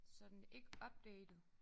Så den ikke updated